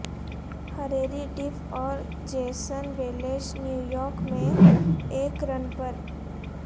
Hilary Duff اور Jason Welsh New York میں ایک رن پر